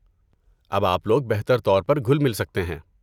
اب آپ لوگ بہتر طور پر گھل مل سکتے ہیں۔